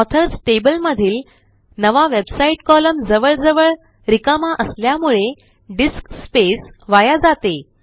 authors table मधील नवा website column जवळजवळ रिकामा असल्यामुळे डिस्क स्पेस वाया जाते